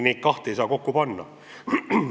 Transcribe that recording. Neid kahte ei saa kokku panna.